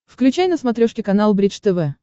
включай на смотрешке канал бридж тв